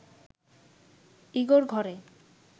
ইগোর ঘরে